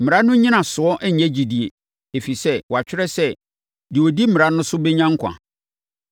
Mmara no nnyinasoɔ nnyɛ gyidie; ɛfiri sɛ, wɔatwerɛ sɛ, deɛ ɔdi mmara no so bɛnya nkwa.